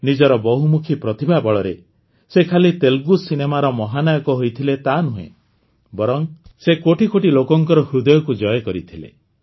ନିଜର ବହୁମୁଖୀ ପ୍ରତିଭା ବଳରେ ସେ ଖାଲି ତେଲୁଗୁ ସିନେମାର ମହାନାୟକ ହୋଇଥିଲେ ତାନୁହେଁ ବରଂ ସେ କୋଟି କୋଟି ଲୋକଙ୍କର ହୃଦୟକୁ ଜୟ କରିଥିଲେ